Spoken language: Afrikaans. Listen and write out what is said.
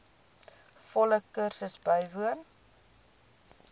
volle kursus bywoon